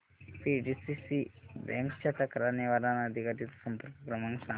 PDCC bank च्या तक्रार निवारण अधिकारी चा संपर्क क्रमांक सांग